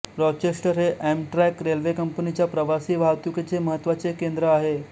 Rochester हे Amtrak railway कंपनीच्या प्रवासी वाहतूकीचे महत्वाचे केंद्र आहे